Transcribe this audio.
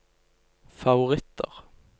favoritter